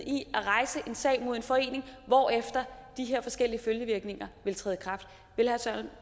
i at rejse en sag mod en forening hvorefter de her forskellige følgevirkninger ville træde